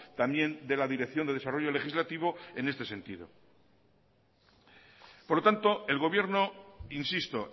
también de la dirección de desarrollo legislativo en este sentido por lo tanto el gobierno insisto